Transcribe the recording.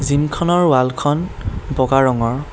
জিমখনৰ ৱালখন বগা ৰঙৰ।